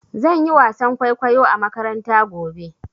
Zan yi wasan kwaikwayo a makaranta gobe.